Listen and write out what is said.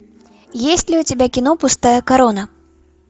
есть ли у тебя кино пустая корона